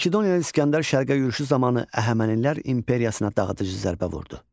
Makedoniyalı İsgəndər şərqə yürüşü zamanı Əhəmənilər imperiyasına dağıdıcı zərbə vurdu.